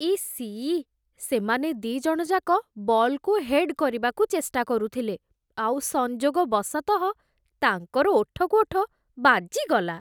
EC! ସେମାନେ ଦି'ଜଣଯାକ ବଲ୍‌କୁ ହେଡ୍ କରିବାକୁ ଚେଷ୍ଟା କରୁଥିଲେ, ଆଉ ସଂଯୋଗ ବଶତଃ ତାଙ୍କର ଓଠକୁ ଓଠ ବାଜିଗଲା ।